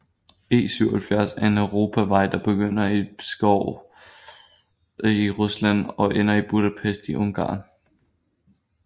E77 er en europavej der begynder i Pskov i Rusland og ender i Budapest i Ungarn